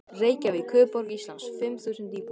Reykjavík, höfuðborg Íslands, fimm þúsund íbúar.